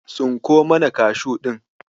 Tsinko mana Kashu ɗin.